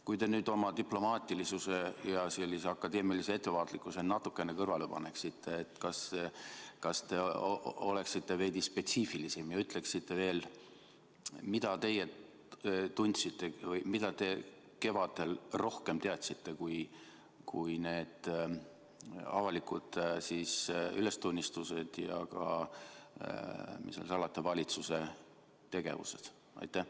Kui te nüüd oma diplomaatilisuse ja sellise akadeemilise ettevaatlikkuse natukene kõrvale paneksite, kas te oleksite veidi spetsiifilisem ja ütleksite, mida teie kevadel rohkem teadsite kui need avalikud ülestunnistused ja ka, mis seal salata, valitsuse tegevused?